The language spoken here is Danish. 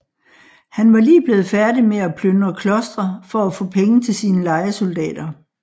Han var lige blevet færdig med at plyndre klostre for at få penge til sine lejesoldater